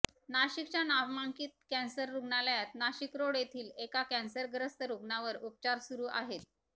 नाशिकच्या नामांकित कॅन्सर रुग्णालयात नाशिकरोड येथील एका कॅन्सरग्रस्त रूग्णावर उपचार सुरू आहेत